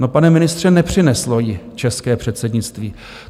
- No, pane ministře, nepřineslo ji české předsednictví.